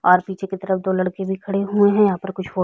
और पीछे की तरफ दो लड़के भी खड़े हुए है यहाँ पर कुछ फ़ो --